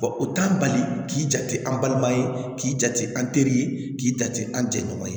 o t'an bali k'i jate an balima ye k'i jate an teri ye k'i jate an jɛɲɔgɔn ye